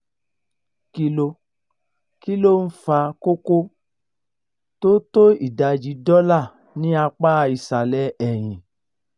kí ló kí ló ń fa koko tó tó ìdajì dọ́là ní apá ìsàlẹ̀ ẹ̀yìn?